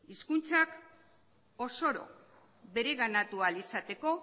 hizkuntza osoro bereganatu ahal izateko